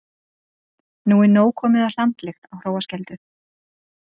Nóg komið af hlandlykt á Hróarskeldu